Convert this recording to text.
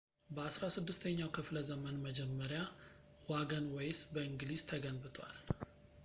በ 16 ኛው ክፍለዘመን መጀመሪያ ዋገንዌይስ በእንግሊዝ ተገንብቷል